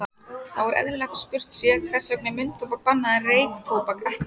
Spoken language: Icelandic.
Þá er eðlilegt að spurt sé, hvers vegna er munntóbak bannað en reyktóbak ekki?